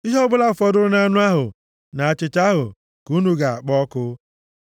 Ihe ọbụla fọdụrụ na anụ ahụ na achịcha ahụ, ka unu ga-akpọ ọkụ.”